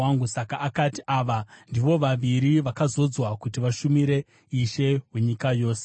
Saka akati, “Ava ndivo vaviri vakazodzwa kuti vashumire Ishe wenyika yose.”